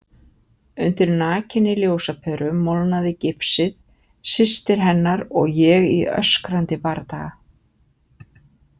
Undir nakinni ljósaperu molnaði gifsið, systir hennar og ég í öskrandi bardaga.